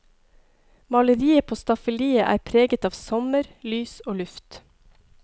Maleriet på staffeliet er preget av sommer, lys og luft.